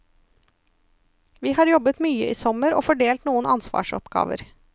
Vi har jobbet mye i sommer og fordelt noen ansvarsoppgaver.